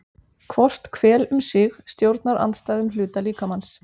Hvort hvel um sig stjórnar andstæðum hluta líkamans.